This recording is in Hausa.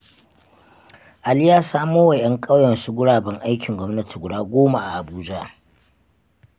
Ali ya samowa 'yan ƙauyensa guraben aikin gwamnati guda goma a Abuja.